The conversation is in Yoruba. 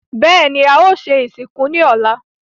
Bẹ́ẹ̀ni, a o se ìsìnkú ní ọ̀la